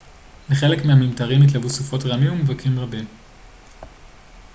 לחלק מהממטרים התלוו סופות רעמים וברקים רבים